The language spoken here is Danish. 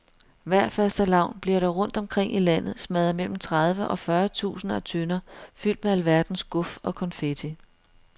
Hver fastelavn bliver der rundt omkring i landet smadret mellem tredive og fyrre tusinder af tønder fyldt med alverdens guf og konfetti.